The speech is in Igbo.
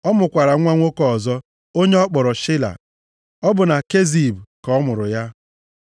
Ọ mụkwara nwa nwoke ọzọ, onye ọ kpọrọ Shela. Ọ bụ na Kezib ka ọ mụrụ ya.